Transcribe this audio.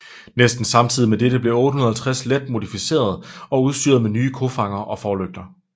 Næsten samtidig med dette blev 850 let modificeret og udstyret med nye kofangere og forlygter